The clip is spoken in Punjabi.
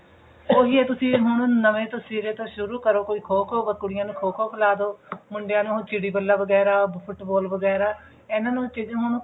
ਉਹੀ ਹੈ ਤੁਸੀਂ ਹੁਣ ਨਵੇਂ ਤੋਂ ਸਿਰੇ ਤੋਂ ਸ਼ੁਰੂ ਕਰੋ ਕੋਈ ਖੋ ਖੋ ਕੁੜੀਆਂ ਨੂੰ ਕੋਈ ਖੋ ਖੋ ਖਿਲਾ ਦੋ ਮੁੰਡਿਆਂ ਨੂੰ ਹੁਣ ਚਿੜੀ ਬੱਲਾ ਵਗੇਰਾ ਫੁੱਟਬਾਲ ਵਗੇਆਰਾ ਇਹਨਾਂ ਨੂੰ ਹੁਣ